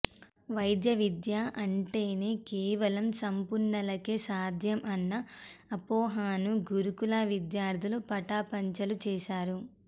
వైద్య విద్య అంటేనే కేవలం సంపన్నులకే సాధ్యం అన్న అపోహను గురుకుల విద్యార్థులు పటాపంచలు చేశారు